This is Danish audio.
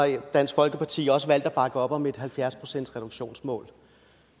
dansk folkeparti også valgt at bakke op om et halvfjerds procentsreduktionsmål